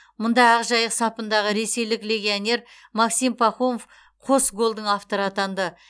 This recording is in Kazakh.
мұнда ақжайық сапындағы ресейлік легионер максим пахомов қос голдың авторы атанды